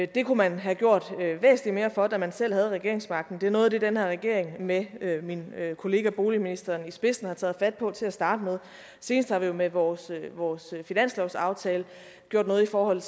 det kunne man have gjort væsentligt mere for da man selv havde regeringsmagten det er noget af det den her regering med min kollega boligministeren i spidsen har taget fat på til at starte med senest har vi jo med vores vores finanslovsaftale gjort noget i forhold